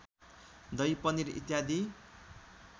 दही पनिर इत्यादि